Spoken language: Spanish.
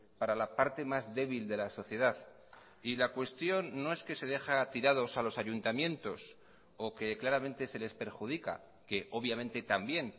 para la parte más débil de la sociedad y la cuestión no es que se deja tirados a los ayuntamientos o que claramente se les perjudica que obviamente también